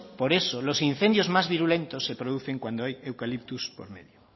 por eso los incendios más virulentos se producen cuando hay eucaliptos por medio